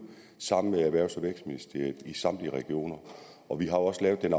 sammen med erhvervs og vækstministeriet i samtlige regioner og vi har også lavet den